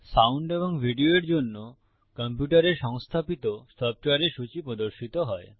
sound এবং video এর জন্য কম্পিউটারে সংস্থাপিত সফ্টওয়্যারের সূচী প্রদর্শিত হয়